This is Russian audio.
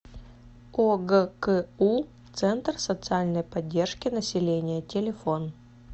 огку центр социальной поддержки населения телефон